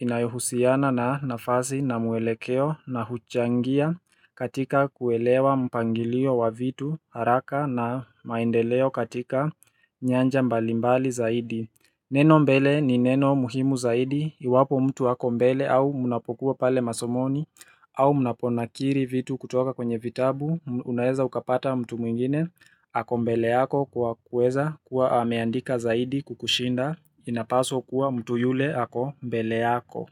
inayohusiana na nafasi na mwelekeo na huchangia katika kuelewa mpangilio wa vitu haraka na maendeleo katika nyanja mbalimbali zaidi. Neno mbele ni neno muhimu zaidi, iwapo mtu ako mbele au mnapokuwa pale masomoni, au mnapo nakili vitu kutoka kwenye vitabu, unaweza ukapata mtu mwingine, ako mbele yako kwa kuweza kuwa ameandika zaidi kukushinda, inapaswa kuwa mtu yule ako mbele yako.